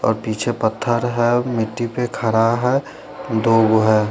और पीछे पथर है मिट्टी पे खरा है दो वेह--